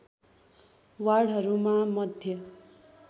वार्डहरूमा मध्ये